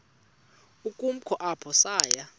ukumka apho saya